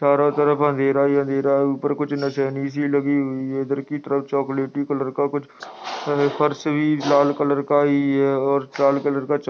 चारों तरफ अंधेरा ही अंधेरा है। ऊपर कुछ नसैनी सी लगी हुई है। इधर की तरफ़ चॉकलेटी कलर का कुछ फर्श भी लाल कलर का ही है और लाल कलर का च --